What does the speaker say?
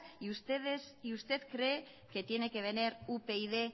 y usted cree que tiene que venir upyd